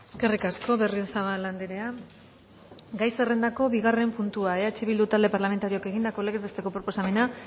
eskerrik asko berriozabal andrea gai zerrendako bigarren puntua eh bildu talde parlamentarioak egindako legez besteko proposamena